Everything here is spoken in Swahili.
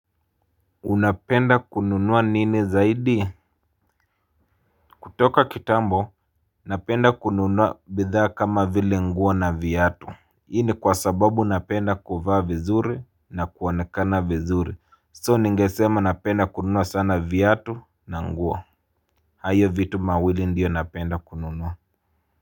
Unapenda kununua nini zaidi? Kutoka kitambo, napenda kununua bidhaa kama vile nguo na viatu hii ni kwa sababu napenda kuvaa vizuri na kuonekana vizuri So ningesema napenda kununua sana viatu na nguo. Hayo vitu mawili ndiyo napenda kununua.